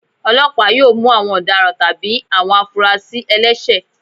Ọlọpa yóò mú awọn ọdáràn tabí awọn afúrásí ẹlẹṣẹ